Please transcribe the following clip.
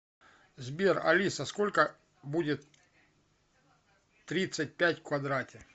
сбер алиса сколько будет тридцать пять в квадрате